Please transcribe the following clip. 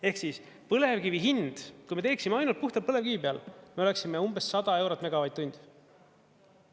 Ehk siis põlevkivi hind, kui me teeksime ainult puhtalt põlevkivi peal, me oleksime umbes 100 eurot megavatt-tund.